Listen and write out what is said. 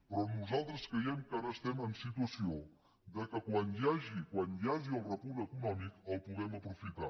però nosaltres creiem que ara estem en situació que quan hi hagi el repunt econòmic el puguem aprofitar